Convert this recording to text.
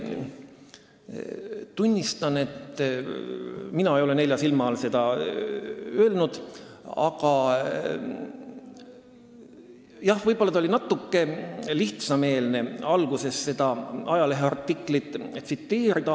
Tunnistan, et mina ei ole nelja silma all seda öelnud, aga jah, võib-olla oli natuke lihtsameelne alguses seda ajaleheartiklit tsiteerida.